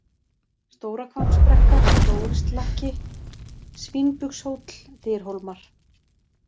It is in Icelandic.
Stórahvammsbrekka, Stórislakki, Svínbugshóll, Dyrhólmar